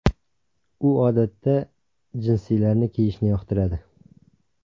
U odatda jinsilarni kiyishni yoqtiradi.